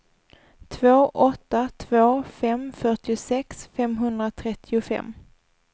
två åtta två fem fyrtiosex femhundratrettiofem